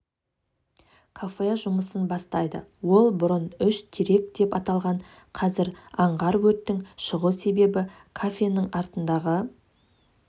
кафе жұмысын бастайды ол бұрын үш терек деп аталған қазір аңғар өрттің шығу себебі кафенің артындағы